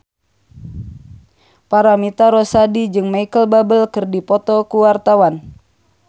Paramitha Rusady jeung Micheal Bubble keur dipoto ku wartawan